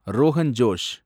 Rohan Josh